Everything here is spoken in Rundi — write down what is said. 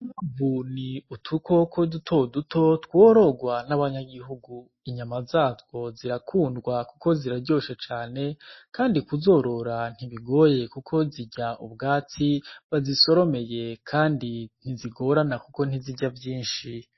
Inkwavu ni udukoko duto duto tworogwa n’abanyagihugu inyana zatwo zirakundwa kuko ziraryoshe cane kandi kuzorora ntibigoye kuko zirya ubwatsi bazisoromeye kandi ntizogorana kuko ntizirya vyishi.